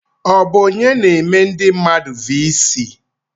Ọ bụ onye na-eme mmadụ vii sij?